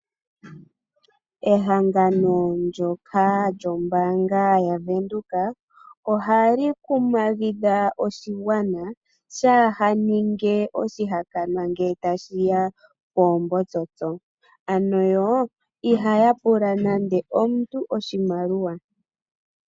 Ehangano ndyoka lyombaanga yaWindhoek otali kumagidha oshigwana opo kaashi ninge oshihakanwa ngele tashi ya koombotsotso, ano yo ihaya pula nande omuntu oshimaliwa.